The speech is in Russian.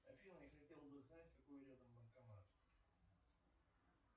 афина я хотел бы узнать какой рядом банкомат